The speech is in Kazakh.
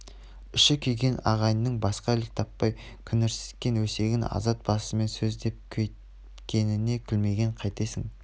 іші күйген ағайынның басқа ілік таппай күңірсіткен өсегін азамат басымен сөз деп көйткеніне күлмегенде қайтесің